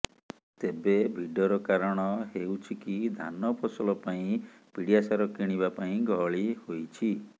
ତେବେ ଭିଡର କାରଣ ହେଉଛି କି ଧାନ ଫସଲ ପାଇଁ ପିଡ଼ିଆ ସାର କିଣିବା ପାଇଁ ଗହଳି ହୋଇଛି